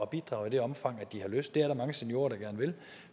bidrage i det omfang de har lyst til det er der mange seniorer der gerne vil